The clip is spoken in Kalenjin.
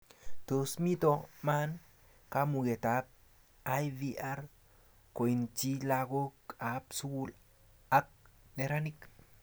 Tos mito man kamuget ab IVR koitchi lakok ab sukul ak neranik